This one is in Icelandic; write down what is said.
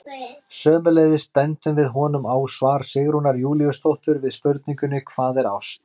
Sömuleiðis bendum við honum á svar Sigrúnar Júlíusdóttur við spurningunni Hvað er ást?